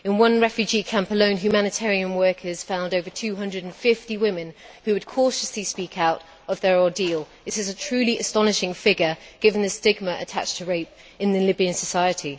In one refugee camp alone humanitarian workers found over 250 women who would cautiously speak out about their ordeal. This is a truly astonishing figure, given the stigma attached to rape in Libyan society.